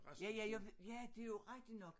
Ja ja jeg ja det jo rigtig nok